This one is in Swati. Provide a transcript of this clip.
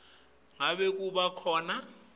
ngabe kuba khona